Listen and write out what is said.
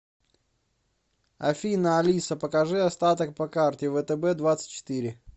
афина алиса покажи остаток по карте втб двадцать четыре